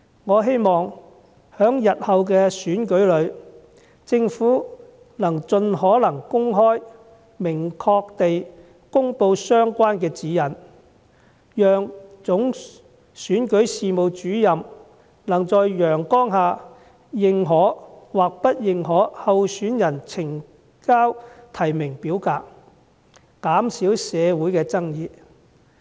我希望在日後的選舉中，政府盡可能公開及明確地公布相關指引，讓總選舉事務主任能在陽光下認可或不認可候選人呈交的提名表格，以減少社會上的爭議。